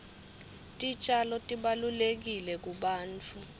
titjalo tibalulekile kubantfu